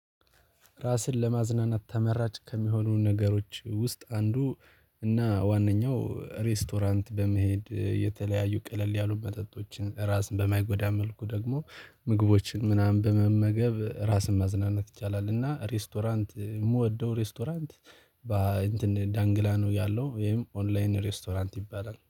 ራስን ለማዝናናት ተመራጭ ከሚሆኑ ነገሮች ውስጥ አንዱ እና ዋነኛው ሬስቶራንት በመሄድ የተለያዩ ቀለል ያሉ መጠጦችን ራስን በማይጎዳ መልኩ ደግሞ ምግቦችን ምናምን በመመገብ ራስን ማዝናናት ይቻላል። እና ሬስቶራንት የምወደው ሬስቶራንት ባ እንትን ዳንግላ ነው ያለው ወይም ኦንላይን ሬስቶራንት ይባላል